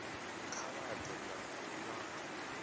kha vha ḓe na luṅwalo